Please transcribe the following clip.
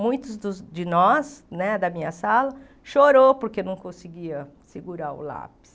Muitos dos de nós, né da minha sala, chorou porque não conseguia segurar o lápis.